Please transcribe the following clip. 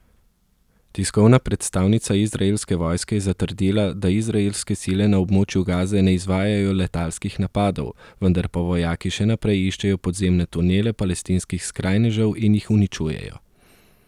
Tiskovna predstavnica izraelske vojske je zatrdila, da izraelske sile na območju Gaze ne izvajajo letalskih napadov, vendar pa vojaki še naprej iščejo podzemne tunele palestinskih skrajnežev in jih uničujejo.